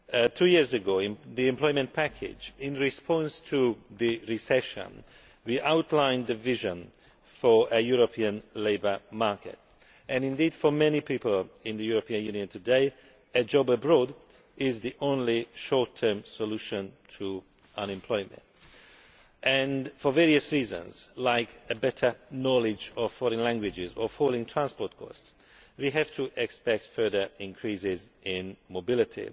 Two years ago, in the employment package in response to the recession, we outlined the vision for a European labour market. For many people in the European Union today a job abroad is the only short term solution to unemployment, and for various reasons, such as a better knowledge of foreign languages or falling transport costs, we have to expect further increases in mobility.